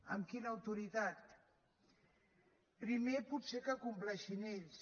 amb quina autoritat primer potser que compleixin ells